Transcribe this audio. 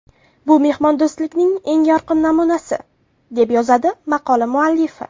Bu mehmondo‘stlikning eng yorqin namunasi”, deb yozadi maqola muallifi.